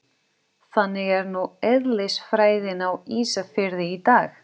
Þannig er nú eðlisfræðin á Ísafirði í dag.